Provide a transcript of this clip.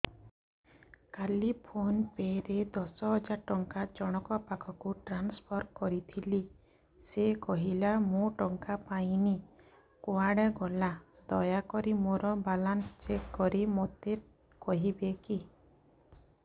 କାଲି PhonePe ରେ ଦଶ ହଜାର ଟଙ୍କା ଜଣକ ପାଖକୁ ଟ୍ରାନ୍ସଫର୍ କରିଥିଲି ସେ କହିଲା ମୁଁ ଟଙ୍କା ପାଇନି କୁଆଡେ ଗଲା ଦୟାକରି ମୋର ବାଲାନ୍ସ ଚେକ୍ କରି ମୋତେ କହିବେ କି